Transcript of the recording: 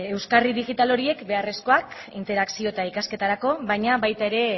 euskarri digital horiek beharrezkoak interakzio eta ikasketarako baina baita